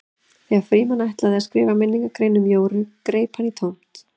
Þegar Frímann ætlaði að skrifa minningargrein um Jóru greip hann í tómt.